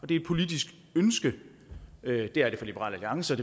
det er et politisk ønske det er det for liberal alliance